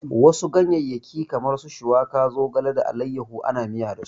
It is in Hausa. Wasu ganyeyyaki kamar su shuwaka, zogale da allayahu ana miya dasu.